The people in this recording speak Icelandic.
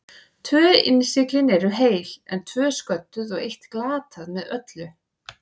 Tvö innsiglin eru heil, en tvö sködduð og eitt glatað með öllu.